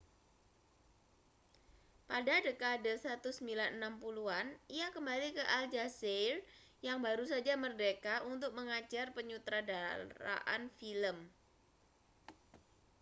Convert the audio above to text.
pada dekade 1960-an ia kembali ke aljazair yang baru saja merdeka untuk mengajar penyutradaraan film